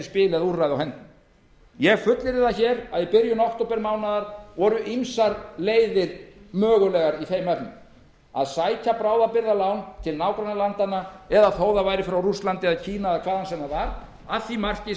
spil eða úrræði á hendi ég fullyrði að í byrjun októbermánaðar voru ýmsar leiðir mögulegar í þeim efnum að sækja bráðabirgðalán til nágrannalandanna frá rússlandi eða kína eða hvaðan sem það var að því marki